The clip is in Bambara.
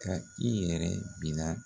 Ka i yɛrɛ bila